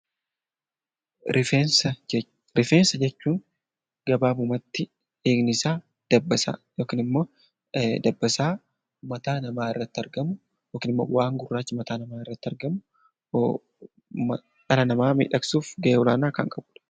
Rifeensa jechuun gabaabumatti hiiknisaa dabbasaa mataa namaarratti argamu waan gurraacha ta'ee dhala namaa kan miidhasudha